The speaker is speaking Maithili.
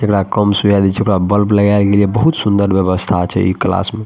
जेकरा कम सुझाय देय छै ओकरा बल्ब लगाल गेल या बहुत सुंदर व्यवस्था छै इ क्लास में ।